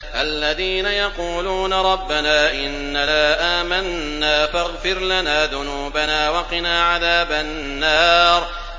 الَّذِينَ يَقُولُونَ رَبَّنَا إِنَّنَا آمَنَّا فَاغْفِرْ لَنَا ذُنُوبَنَا وَقِنَا عَذَابَ النَّارِ